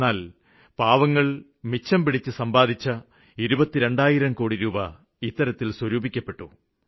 എന്നാല് പാവങ്ങള് മിച്ചംപിടിച്ച് സമ്പാദിച്ച് ഇരുപത്തിരണ്ടായിരം കോടി സ്വരൂപിക്കപ്പെട്ടു